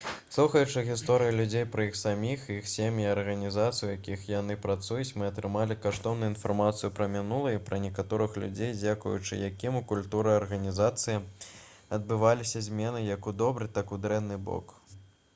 слухаючы гісторыі людзей пра іх саміх іх сем'і і арганізацыі у якіх яны працуюць мы атрымалі каштоўную інфармацыю пра мінулае і пра некаторых людзей дзякуючы якім у культуры арганізацыі адбываліся змены як у добры так і ў дрэнны бок